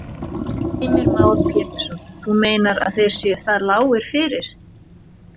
Heimir Már Pétursson: Þú meinar að þeir séu það lágir fyrir?